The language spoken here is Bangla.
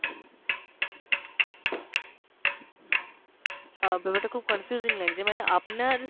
অ্যাঁ ব্যাপারটা খুব confusing লাগছে, মানে আপনার